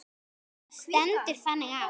Það stendur þannig á.